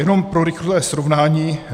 Jenom pro rychlé srovnání.